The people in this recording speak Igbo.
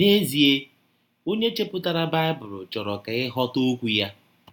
N’ezie, Ọnye chepụtara Baịbụl chọrọ ka ị ghọta Okwụ ya!